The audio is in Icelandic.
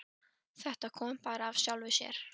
Þetta kom bara allt af sjálfu sér.